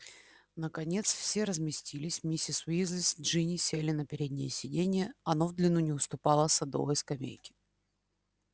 наконец все разместились миссис уизли с джинни сели на переднее сиденье оно в длину не уступало садовой скамейке